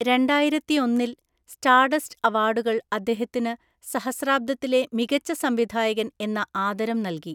രണ്ടായിരത്തിയൊന്നില്‍ Stardust അവാർഡുകൾ അദ്ദേഹത്തിനു 'സഹസ്രാബ്ദത്തിലെ മികച്ച സംവിധായകൻ' എന്ന ആദരം നല്‍കി.